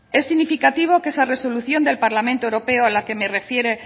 es significativo que esa resolución del parlamento europeo a la que